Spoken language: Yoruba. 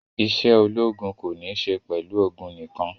Isé ológun ko ní isé pẹlu ogun nikan